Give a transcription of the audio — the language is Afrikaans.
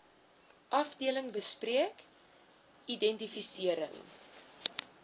afdeling bespreek identifisering